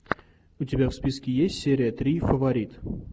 у тебя в списке есть серия три фаворит